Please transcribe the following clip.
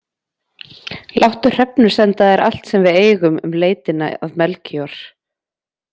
Láttu Hrefnu senda þér allt sem við eigum um leitina að Melkíor.